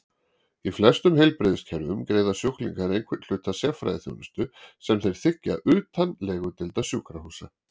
Í flestum heilbrigðiskerfum greiða sjúklingar einhvern hluta sérfræðiþjónustu sem þeir þiggja utan legudeilda sjúkrahúsa.